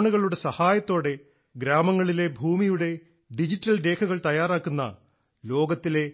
ഡ്രോണുകളുടെ സഹായത്തോടെ ഗ്രാമങ്ങളിലെ ഭൂമിയുടെ ഡിജിറ്റൽ രേഖകൾ തയ്യാറാക്കുന്ന ലോകത്തിലെ